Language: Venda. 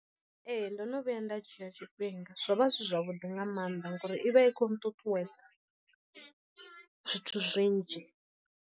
Ee ndo no vhuya nda dzhia tshifhinga zwo vha zwi zwavhuḓi nga maanḓa ngori i vha i khou nṱuṱuwedza zwithu zwinzhi.